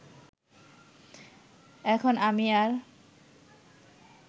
এখন আমি আর